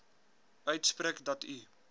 uitspreek dat u